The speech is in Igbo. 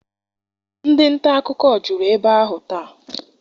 Ndị nta akụkọ juru ebe ahụ taa.